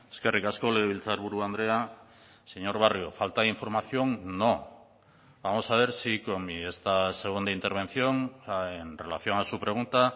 eskerrik asko legebiltzarburu andrea señor barrio falta de información no vamos a ver si con mi esta segunda intervención en relación a su pregunta